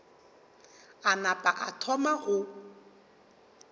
a napa a thoma go